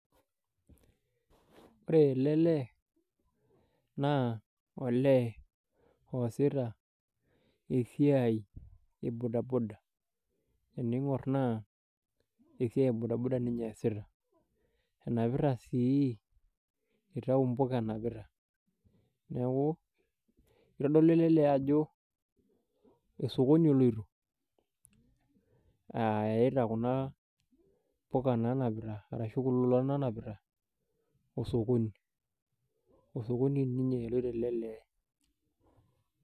Ore ele lee naa olee oosita esiai e bodaboda teneing'or naa esiai e bodaboda ninye eesita enapita sii eitau imbuka enapita neeku eitodolu ele lee ajo osokoni eleito aa eita kuna puka naanapita ashu kulo olan oonapita osokoni ,osokoni ninye eloito ele lee .